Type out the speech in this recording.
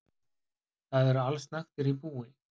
Þar eru allsnægtir í búi.